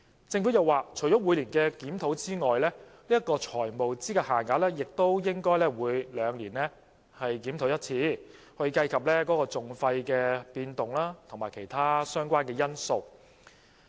政府又說，除了每年的檢討之外，財務資格限額亦應該每兩年檢討一次，以計及訟費的變動及其他相關因素。